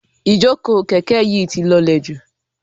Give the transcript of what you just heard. Ijoko kẹ̀kẹ́ yi ti lọlẹ ju